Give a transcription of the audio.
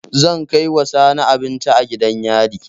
Zan kaiwa Sani abinci a gidan yari